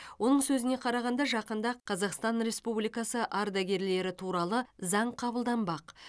оның сөзіне қарағанда жақында қазақстан республикасы ардагерлері туралы заң қабылданбақ